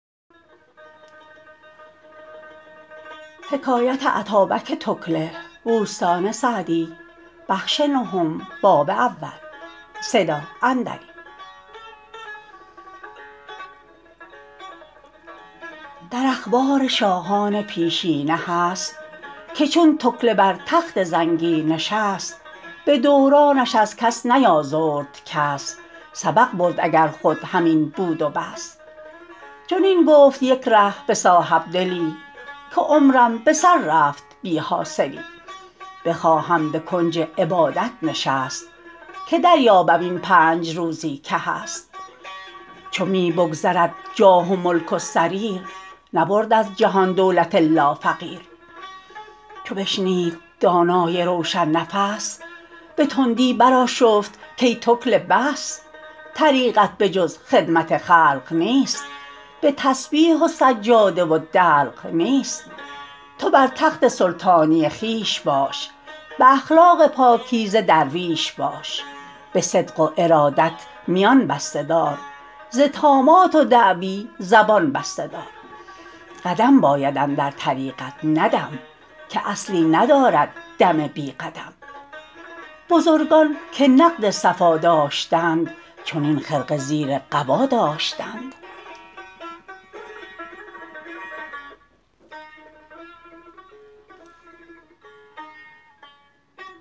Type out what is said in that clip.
در اخبار شاهان پیشینه هست که چون تکله بر تخت زنگی نشست به دورانش از کس نیازرد کس سبق برد اگر خود همین بود و بس چنین گفت یک ره به صاحبدلی که عمرم به سر رفت بی حاصلی بخواهم به کنج عبادت نشست که دریابم این پنج روزی که هست چو می بگذرد جاه و ملک و سریر نبرد از جهان دولت الا فقیر چو بشنید دانای روشن نفس به تندی برآشفت کای تکله بس طریقت به جز خدمت خلق نیست به تسبیح و سجاده و دلق نیست تو بر تخت سلطانی خویش باش به اخلاق پاکیزه درویش باش به صدق و ارادت میان بسته دار ز طامات و دعوی زبان بسته دار قدم باید اندر طریقت نه دم که اصلی ندارد دم بی قدم بزرگان که نقد صفا داشتند چنین خرقه زیر قبا داشتند